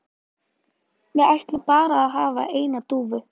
Við ætlum bara að hafa eina dúfu